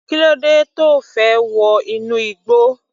Kílódé tí O fẹ́ wọ inú igbó.